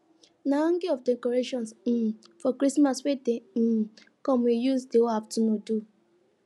na hanging of decorations um for christmas wey dey um come we use the whole afternoon do